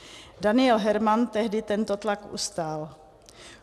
Daniel Herman tehdy tento tlak ustál.